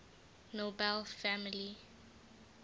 nobel family